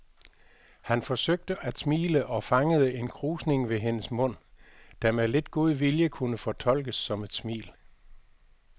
Han forsøgte at smile og fangede en krusning ved hendes mund, der med lidt god vilje kunne fortolkes som et smil.